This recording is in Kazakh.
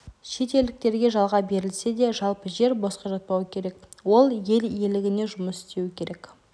шетелдіктерге жалға берілсе де жалпы жер босқа жатпауы керек ол ел игілігіне жұмыс істеуі керек